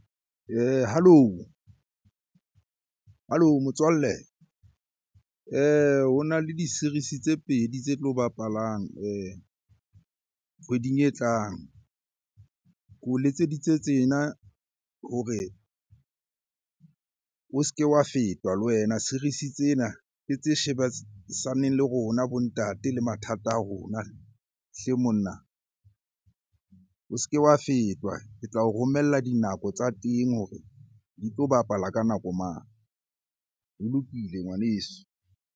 Halo? Halo motswalle. Ho na le di-series-e tse pedi tse tlo bapalang kgweding e tlang. Ke o letseditse tsena hore o se ke wa fetwa le wena. Series-e tsena ke tse shebisaneng le rona bo ntate le mathata a rona hle monna. O se ke wa fetwa, ke tla o romella dinako tsa teng hore di tlo bapala ka nako mang? Ho lokile ngwaneso.